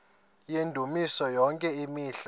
yendumiso yonke imihla